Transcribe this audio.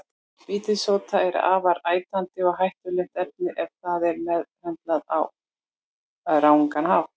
Vítissódi er afar ætandi og hættulegt efni ef það er meðhöndlað á rangan hátt.